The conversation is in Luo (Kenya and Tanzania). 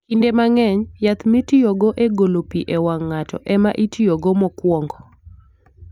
Kinde mang'eny, yath mitiyogo e golo pi e wang' ng'ato, ema itiyogo mokwongo.